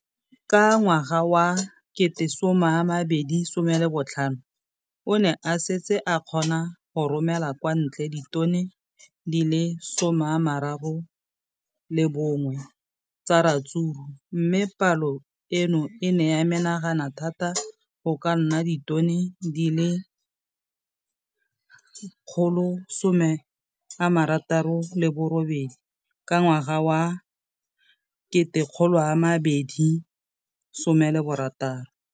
Ka ngwaga wa 2015, o ne a setse a kgona go romela kwa ntle ditone di le 31 tsa ratsuru mme palo eno e ne ya menagana thata go ka nna ditone di le 168 ka ngwaga wa 2016.